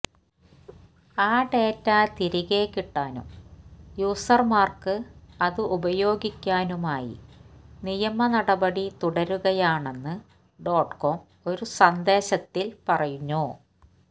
ആ ഡേറ്റ തിരികെക്കിട്ടാനും യൂസര്മാര്ക്ക് അത് ഉപയോഗിക്കാനുമായി നിയമനടപടി തുടരുകയാണെന്ന് ഡോട്ട്കോം ഒരു സന്ദേശത്തില് പറഞ്ഞു